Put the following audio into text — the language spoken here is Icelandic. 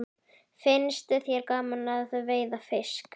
Finnst þér gaman að veiða fisk?